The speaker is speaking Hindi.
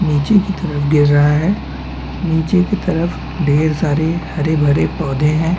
नीचे की तरफ गिर रहा है नीचे की तरफ ढेर सारे हरे-भरे पौधे है।